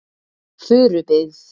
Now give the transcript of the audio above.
Furubyggð